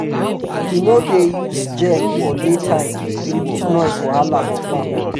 he no dey use gen for day time to reduce noise wahala for farm